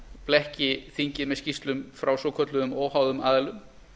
blekki þingið með skýrslum frá svokölluðum óháðum aðilum